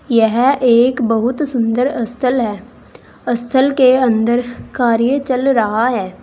यह एक बहुत सुंदर स्थल है स्थल के अंदर कार्य चल रहा है।